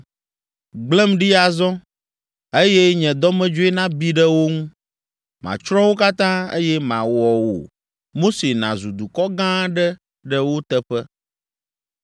Gblẽm ɖi azɔ, eye nye dɔmedzoe nabi ɖe wo ŋu. Matsrɔ̃ wo katã, eye mawɔ wò, Mose nàzu dukɔ gã aɖe ɖe wo teƒe.”